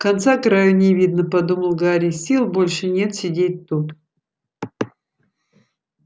конца краю не видно подумал гарри сил больше нет сидеть тут